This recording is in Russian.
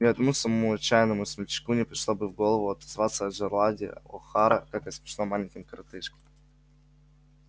ни одному самому отчаянному смельчаку не пришло бы в голову отозваться о джералде охара как о смешном маленьком коротышке